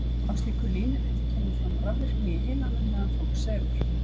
Á slíku línuriti kemur fram rafvirkni í heilanum meðan fólk sefur.